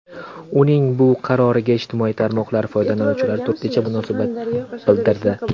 Uning bu qaroriga ijtimoiy tarmoqlar foydalanuvchilari turlicha munosabat bildirdi.